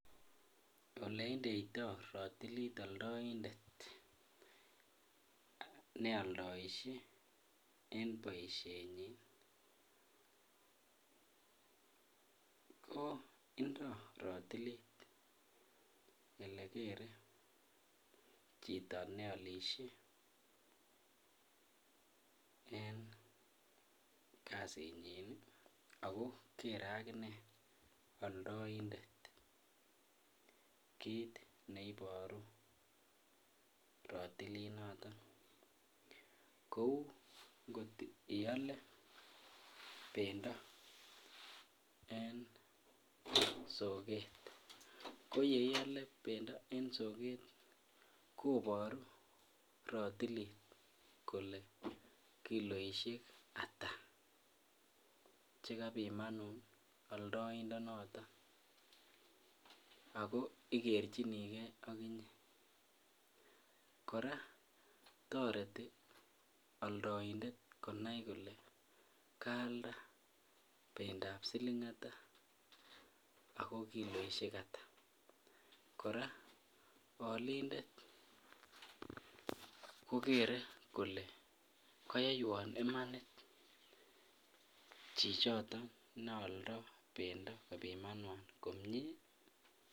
Oleindeito rotilit omndoindet neoldoishe boishenyin ko indo rotilit elekere chito neolishe en kasinyin ak ko kere ak inee oldointet kiit neiboru rotilinoton, kou kotiole bendo en sokeet, ko yeiole bendo en sokeet koboru rotilit kolee kiloishek ataa chekabimanun aldointo noton ak ko ikerchini kee okinye, kora toreti oldointet konai kolee kaalda bendab silingata ak ko kiloishek ata, kora olindet kokere kolee koyoiywon imanit chichoton neoldo kobimanwan komie.